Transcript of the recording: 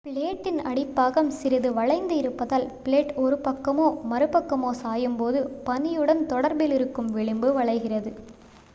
பிளேடின் அடிப்பாகம் சிறிது வளைந்து இருப்பதால் பிளேட் ஒரு one பக்கமோ மறுபக்கமோ சாயும் போது பனியுடன் தொடர்பிலிருக்கும் விளிம்பும் வளைகிறது